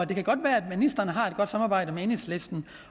det kan godt være at ministeren har et godt samarbejde med enhedslisten